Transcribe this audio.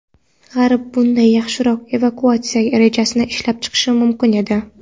G‘arb bunday yaxshiroq evakuatsiya rejasini ishlab chiqishi mumkin edi.